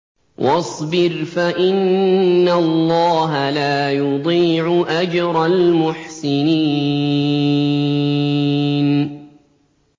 وَاصْبِرْ فَإِنَّ اللَّهَ لَا يُضِيعُ أَجْرَ الْمُحْسِنِينَ